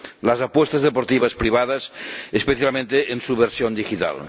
las apuestas deportivas privadas, especialmente en su versión digital.